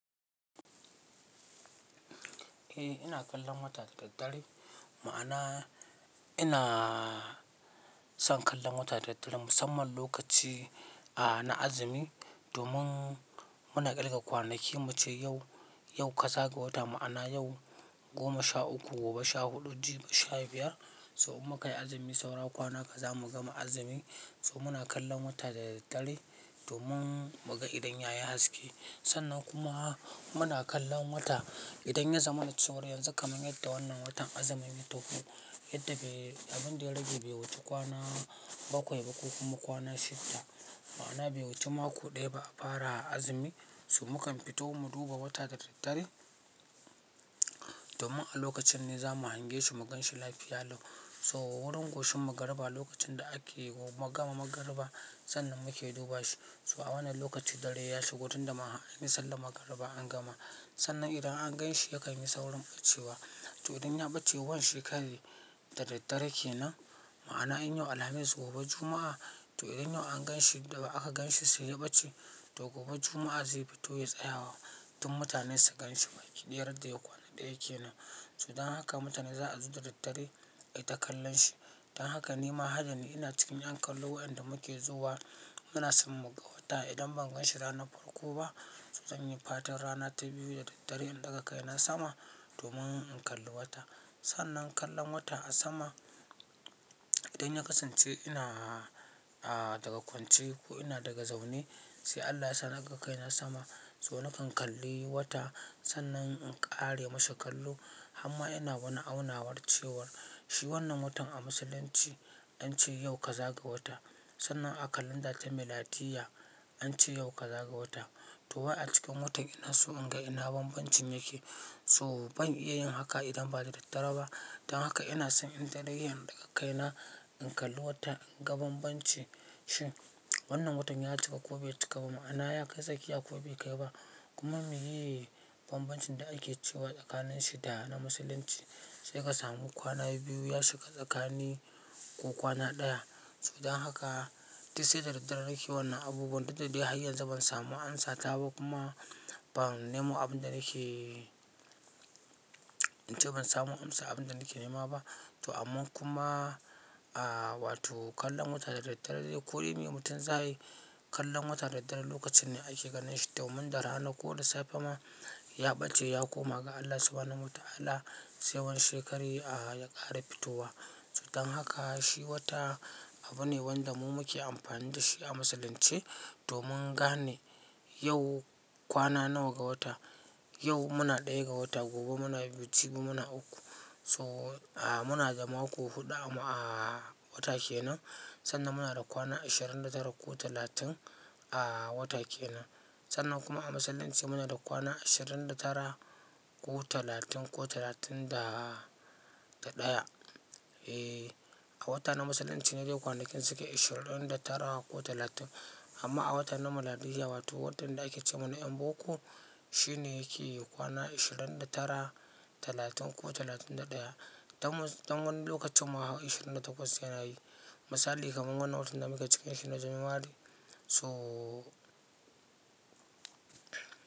Eh ina kallon wata da daddare, ma'ana ina son kallon wata da daddare musamman lokaci a na azumi domin muna ƙirga kwanaki muce yau, yau kaza ga wata ma'ana yau goma sha uku, gobe sha huɗu, jibi sha biyar. So in muka yi azumi saura kwana kaza mu gama azumi so muna kallon wata da daddare domin muga idan ya yi haske. Sannan kuma muna kallon wata idan ya zama na cewar yanzu kaman yadda wannan watan azumi ya tafi yadda abin da ya rage bai wuce kwana bakwai ba ko kuma kwana shidda. Ma'ana bai wuce mako ɗaya ba a fara azumi so mukan fito mu duba wata da daddare domin a lokacin ne zamu hange shi mu ganshi lafiya lau. So wurin goshin magarba lokacin da ake gama magarba sannan muke duba shi so wannan lokaci dare ya shigo tun da har anyi sallar magariba an gama. Sannan idan an ganshi ya kai masa wurin ɓacewa, to idan ya ɓace wannan shekarar da daddare kenan ma'ana in yau Alhamis gobe Juma'a, to idan yau an ganshi da aka ganshi sai ya ɓace to gobe Juma'a zai fito ya tsaya wa duk mutanen su ganshi idan yadda yadda kwana ɗaya kenan. So dan haka mutane za a zo da daddare ai ta kallon shi. Dan haka ni ma hadani ina cikin an kallo wayanda muke zuwa muna son mu ga wata idan ban ganshi ranar farko ba, su zanyi fatar rana ta biyu da daddare in ɗaga kai na sama domin in kalli wata. Sannan kallon wata a sama idan ya kasance ina a daga kwance ko ina daga zaune sai Allah yasa naga kai na sama so nakan kalli wata sannan in ƙare mashi kallo harma ina wani aunawar cewar shi wannan watan a Musulunci an ce yau ka zaga wata. Sannan a kalanda ta Miladiyya an ce yau ka zaga wata to wai a cikin watan ina so in ga ina banbanci yake so ban iya yin haka idan ba da daddare ba. Dan haka ina son ni kaɗai in ɗaga kai na in kalli wata in ga banbancin shin. Wannan watan ya cika ko bai cika ba ma'ana ya kai tsakiya ko bai kai ba kuma meye banbancin da ake cewa tsakanin shi da na musulunci sai ka samu kwana biyu ya shiga tsakani ko kwana ɗaya. So dan haka, duk sai da daddare nake wannan abubuwan duk da dai har yanzu ban samu an sata ba kuma ban nemo abin da nake, in ce ban samu an sa abin da nake nema ba. To amma kuma, a wato kallon wata da daddare ko yi ne mutum za yi kallon wata da daddare lokacin ne ake ganin shi domin da rana ko da safe ma ya ɓace ya koma ga Allah Subahanahu wa Ta'ala sai wan shekare a ya ƙara fitowa. So dan haka shi wata abu ne wanda mu muke amfani da shi a Musulunce domin gane yau kwana nawa ga wata. Yau muna ɗaya ga wata, gobe muna biyu, gobe muna uku so a muna da mako huɗu a wata kenan sannan muna da kwana ashirin da tara ko talatin a wata kenan. Sannan kuma a Musulunci mu na da kwana ashirin da tara ko talatin ko talatin da ɗaya. Eh, a wata na Musulunci ne dai kwanakin suke ashirin da tara ko talatin amma a wata na Miladiyya wato watan da ake ce mana yan boko shi ne yake kwana ashirin da tara, talatin ko talatin da ɗaya. Dan wani lokacin ma ashirin da takwas yana yi. Misali kaman wannan watan da muke ciki shi ne january so.